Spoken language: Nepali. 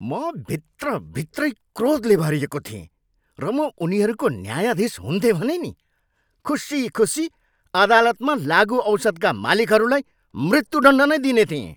म भित्र भित्रै क्रोधले भरिएको थिएँ र म उनीहरूको न्यायाधीश हुन्थेँ भने नि खुसी खुसी अदालतमा लागुऔषधका मालिकहरूलाई मृत्युदण्ड नै दिने थिएँ।